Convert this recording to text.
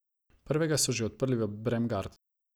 Prvega so že odprli v Bremgartnu.